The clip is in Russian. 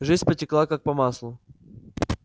жизнь потекла как по маслу